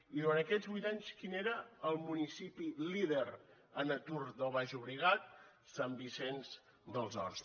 i durant aquests vuit anys quin era el municipi líder en atur del baix llobregat sant vicenç dels horts